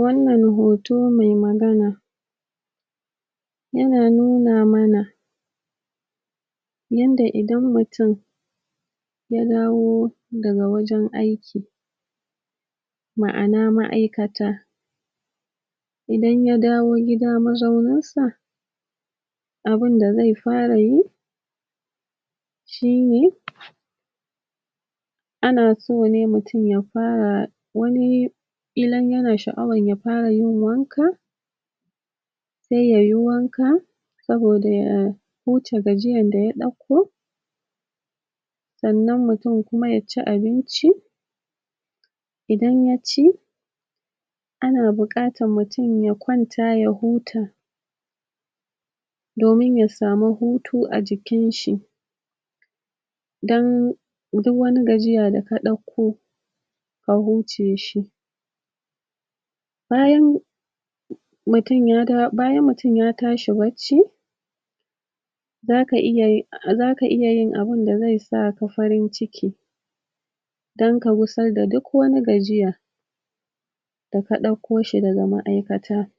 Wannan hoto me magana yana nuna mana yanda idan mutin ya dawo daga wajen aiki ma'ana ma'aikata, idan ya dawo gida mazauninsa abinda zai fara yi shine ana so ne mutum ya fara wani ƙilan yana sha'awayya fara yin wanka se ya yi wanka saboda ya huce gajiyan da ya ɗakko, sannan mutum kuma ya ci abinci, idan ya ci ana buƙatan mutum ya kwanta ya huta domin ya samu hutu a jikinshi, dan duwwani gajiya da ka ɗakko ka huce shi, bayan mutum ya daw... bayan mutum ya tashi bacci zaka iya yi...zaka iya yin abinda zai saka farin ciki dan ka gusar da duk wani gajiya da ka ɗakko shi daga ma'aikata,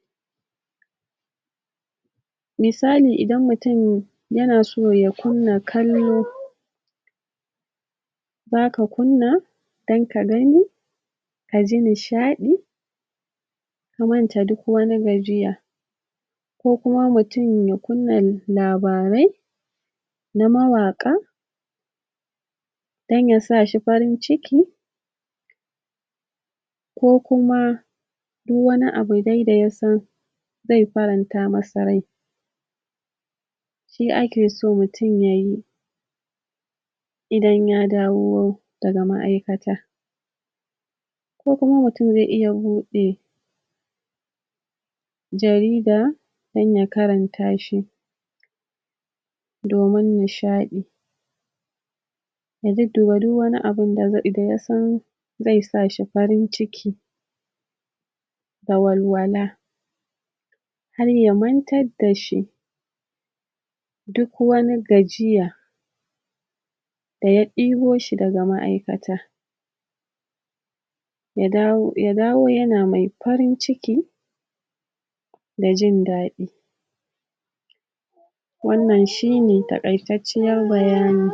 misali: Idan mutin yana so ya kunna kallo zaka kunna dan kagani, ka ji nishaɗi, ya mance duk wani gajiya, ko kuma mutim ya kunna labarai na mawaƙa dan yasa shi farin ciki, ko kuma duwwani abu dai da yasan zai faranta masa rai, shi ake so mutin yayi, idan ya dawo daga ma'aikata, ko kuma mutim ze iya buɗe jarida dan ya karanta shi domin nishaɗi, ya dudduba duwwani abun da ze... da yasan zai sa shi farin ciki da walwala, hayya mantadda shi duk wani gajiya da ya ɗebo shi daga ma'aikata, ya dawo ya dawo yana mai farin ciki da jin daɗi, wannan shine taƙaitacciyar bayani.